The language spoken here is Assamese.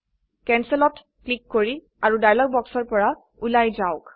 ক্যানসেলত ক্লিক কৰি আৰু ডায়লগ বক্সৰ পৰা উলায় যাওক